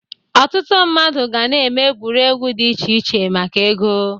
Ọtụtụ mmadụ ga na-eme egwuregwu dị iche iche maka ego.